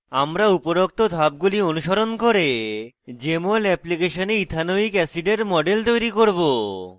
আমরা উপরোক্ত ধাপগুলি অনুসরণ করে jmol এপ্লিকেশনে ইথানোয়িক অ্যাসিডের model তৈরি করব